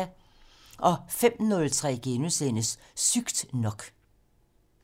05:03: Sygt nok *